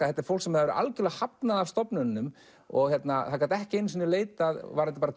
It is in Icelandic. þetta er fólk sem var algjörlega hafnað af stofnununum og það gat ekki einu sinni leitað varðandi